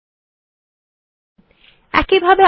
দেখুন যে ফাইলে সখ্গুলি লেখা চিলো সেটি খুলে গেছে